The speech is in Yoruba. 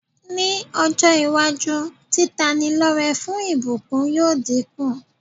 Ní ọ́-iwájú, títanilọ́rẹ fún ìbùkuńn yóò dínkù.